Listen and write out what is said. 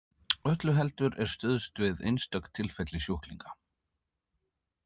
Öllu heldur er stuðst við einstök tilfelli sjúklinga.